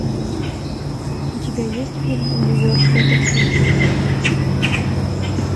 у тебя есть фильм нью йоркское такси